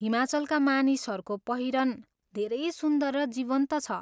हिमाचलका मानिसहरूको पहिरन धेरै सुन्दर र जीवन्त छ।